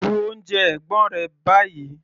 Bu oúnjẹ ẹ̀gbọ́n rẹ báyìí!